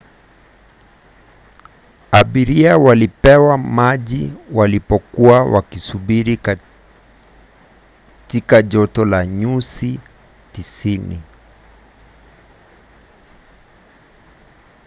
abiria walipewa maji walipokuwa wakisubiri katika joto la nyusi 90